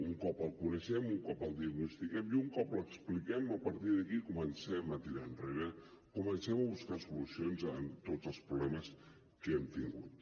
un cop el coneixem un cop el diagnostiquem i un cop l’expliquem a partir d’aquí comencem a tirar enrere comencem a buscar solucions a tots els problemes que hem tingut